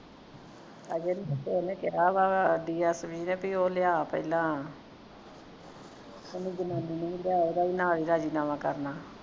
ਹਾਜੇ ਉਹਨੇ ਕਿਹਾ ਵਾ dsp ਨੇ ਉਹ ਲਿਆ ਪਹਿਲਾਂ ਉਹਨੂੰ ਜਨਾਨੀ ਨੂੰ ਵੀ ਲਿਆ ਉਹਦਾ ਵੀ ਨਾਲ ਹੀ ਰਾਜ਼ੀਨਾਮਾ ਕਰਨਾ